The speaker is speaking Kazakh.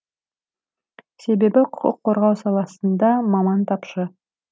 себебі құқық қорғау саласында маман тапшы